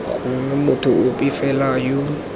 gongwe motho ope fela yo